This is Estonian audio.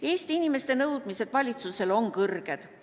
Eesti inimeste nõudmised valitsusele on kõrged.